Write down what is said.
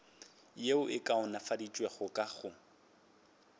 yeo e kaonafaditšwego ka go